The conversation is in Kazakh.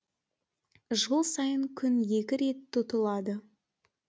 жыл сайын күн екі рет тұтылады